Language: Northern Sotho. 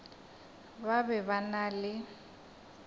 ba be ba na le